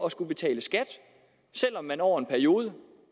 at skulle betale skat selv om man over en periode